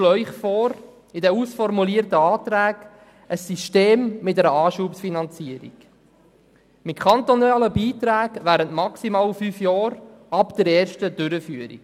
Wir schlagen Ihnen bei den ausformulierten Anträgen ein System mit einer Anschubfinanzierung vor, mit kantonalen Beiträgen während maximal fünf Jahren ab der ersten Durchführung.